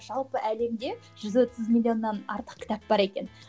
жалпы әлемде жүз отыз миллионнан артық кітап бар екен